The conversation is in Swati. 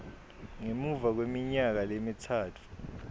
ngemuva kweminyaka lemitsatfu